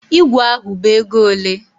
Ígwè ahụ bụ ego ole?